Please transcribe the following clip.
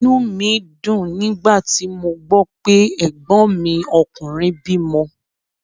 Inú mí dùn nígbà tí mo gbó pé ẹ̀gbọ́n mi ọkùnrin bímo